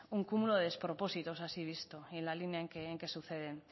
un cúmulo de despropósitos así vistos y en la línea en que suceden